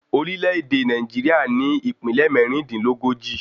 Orílè èdè Nàìjíríà ní Ìpínlẹ̀ mẹ́rìndínlógójì